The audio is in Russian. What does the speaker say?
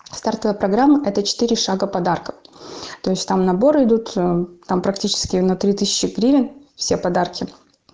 стартовая программа это четыре шага подарков то есть там наборы идут там практически на три тысячи гривень все подарки